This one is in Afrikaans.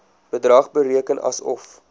bedrag bereken asof